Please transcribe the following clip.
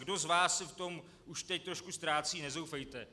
Kdo z vás se v tom už teď trošku ztrácí, nezoufejte.